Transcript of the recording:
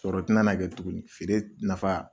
Sɔrɔ ti na na kɛ tuguni feere nafa